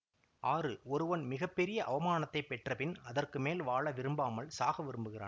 ஆறு ஒருவன் மிக பெரிய அவமானத்தை பெற்றபின் அதற்க்கு மேல் வாழ விரும்பாமல் சாக விரும்புகிறான்